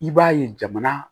I b'a ye jamana